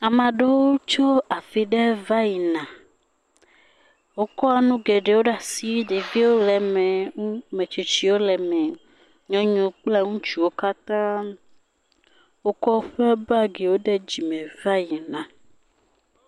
Amaa ɖewo tso afi ɖe va yina. Wokɔ nu geɖewo ɖaa si. Ɖeviwo le me, ŋu, metsitsiwo le me. Nyɔnuwo kple ŋutsuwo katã. Wokɔ woƒe bagiwo ɖe dzime va yina.